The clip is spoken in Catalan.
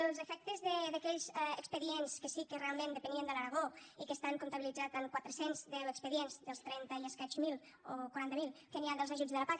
els efectes d’aquells expedients que sí que realment depenien de l’aragó i que estan comptabilitzats en quatre cents i deu expedients dels trenta i escaig mil o quaranta miler que n’hi ha dels ajuts de la pac